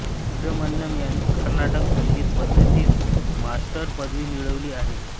सुब्रह्मण्यमयांनी कर्नाटक संगीत पद्धतीत मास्टर्स पदवी मिळवली आहे